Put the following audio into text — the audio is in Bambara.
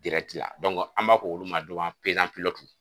an b'a fɔ olu ma